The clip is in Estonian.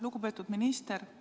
Lugupeetud minister!